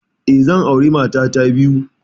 Eh, zan aure mata ta biyu.